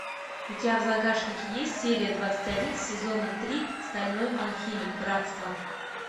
у тебя в загашнике есть серия двадцать один сезона три стальной алхимик братство